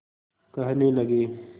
कहने लगे